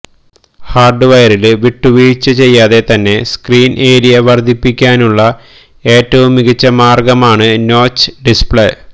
hard വയറില് വിട്ടുവീഴ്ച ചെയ്യാതെ തന്നെ സ്ക്രീന് ഏരിയ വര്ദ്ധിപ്പിക്കാനുളള ഏറ്റവും മികച്ച മാര്ഗ്ഗമാണ് നോച്ച് ഡിസ്പ്ലേ